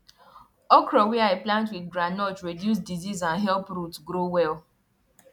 okra wey i plant with groundnut reduce disease and help root grow well